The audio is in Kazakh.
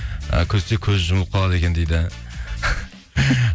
ы күлсе көзі жұмылып қалады екен дейді